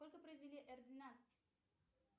сколько произвели р двенадцать